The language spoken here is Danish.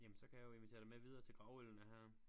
Jamen så kan jeg jo invitere dig med videre til gravøllene her